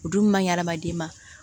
O dun maɲi adamaden ma